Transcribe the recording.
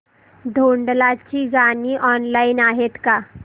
भोंडला ची गाणी ऑनलाइन आहेत का